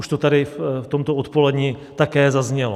Už to tady v tomto odpoledni také zaznělo.